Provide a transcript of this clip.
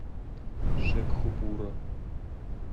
шекхупура